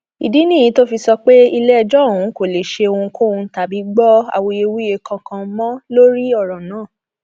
ìdí nìyí tó fi sọ pé iléẹjọ òun kò lè ṣe ohunkóhun tàbí gbọ awuyewuye kankan mọ lórí ọrọ náà